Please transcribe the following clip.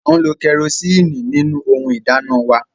A ń lo kerosiini nínú ohùn ìdáná wà